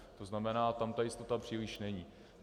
To znamená, tam ta jistota příliš není.